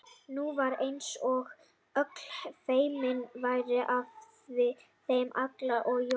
Nú var eins og öll feimni færi af þeim Lalla og Jóa.